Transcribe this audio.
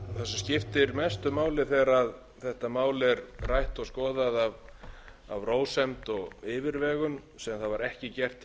skiptir mestu máli þegar þetta mál er rætt og skoðað af rósemd og yfirvegun sem var ekki gert hér í umræðum